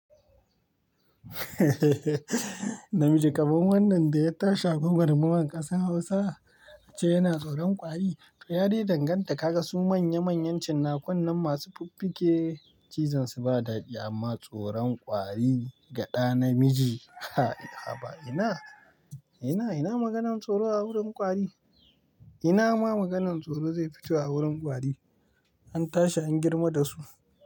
Namiji kaman wannan da ya tashi a gwagwarmayan ƙasar Hausa ace yana tsoron kwari. To yadai danganta kaga su manya manyan cinakunnan masu fuffuke, cizonsu ba daɗi amma tsoron kwari ga ɗa namiji a haba ina, ina, ina maganan tsoro a wurin kwari? Ina ma maganan tsoro zai fito a wurin kwari? An tashi an girma da su.